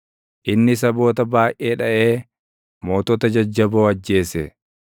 Inni saboota baayʼee dhaʼee mootota jajjaboo ajjeese;